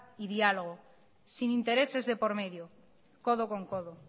y dialogo sin intereses de por medio codo con codo